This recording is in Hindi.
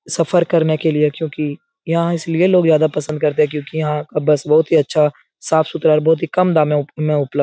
सफ़र करने के लिए क्युकि यहाँ इसलिए लोग ज्यादा पसंद करते है क्यूंकि यहाँ का बस बहुत ही अच्छा साफ़-सुथरा और बहुत ही कम दामों में उप में उपलब --